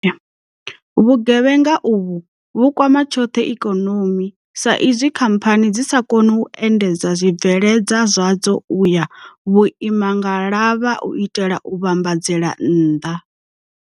Vhugevhenga uvhu vhu kwama tshoṱhe ikonomi saizwi khamphani dzi sa koni u endedza zwibveledzwa zwadzo u ya vhuimangalavha u itela u vhambadzela nnḓa.